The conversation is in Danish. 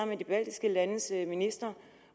med de baltiske landes ministre